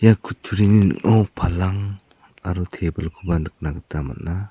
ia kutturini ningo palang aro table-koba nikna gita man·a.